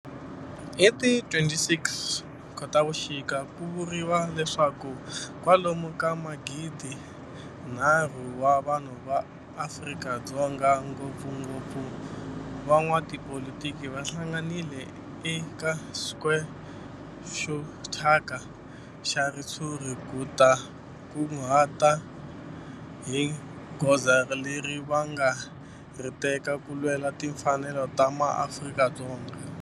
Hi ti 26 Khotavuxika ku vuriwa leswaku kwalomu ka magidinharhu wa vanhu va Afrika-Dzonga, ngopfungopfu van'watipolitiki va hlanganile eka square xo thyaka xa ritshuri ku ta kunguhata hi goza leri va nga ta ri teka ku lwela timfanelo ta maAfrika-Dzonga.